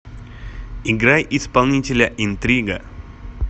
играй исполнителя интрига